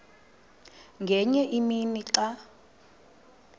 ngenye imini xa